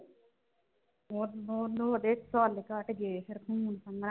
ਹੋਰ ਹੁਣ ਉਹਦੇ cell ਘੱਟ ਗਏ ਫਿਰ ਖ਼ੂਨ ਥੋੜਾ,